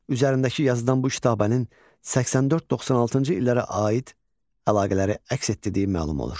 Üzərindəki yazıdan bu kitabənin 84-96-cı illərə aid əlaqələri əks etdirdiyi məlum olur.